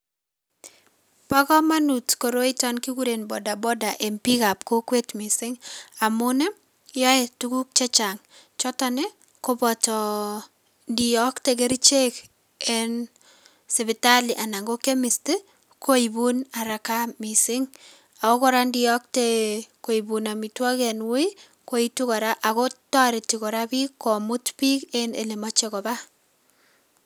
Bokomonut koroiton kikuren boda boda en biikab kokwet mising amuun yoee tukuk chechang choton koboto ndiyoktee kerichek en sipitali anan ko chemist koibun haraka mising, ak kora indiyokte koibun amitwokik en wuuii koituu kora, ak toretii kora biik komuut biik en elemoche kobaa.